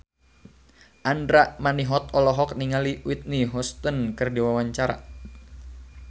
Andra Manihot olohok ningali Whitney Houston keur diwawancara